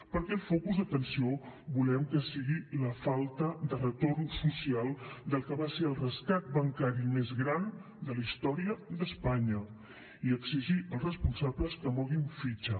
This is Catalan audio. perquè el focus d’atenció volem que sigui la falta de retorn social del que va ser el rescat bancari més gran de la història d’espanya i exigir als responsables que moguin fitxa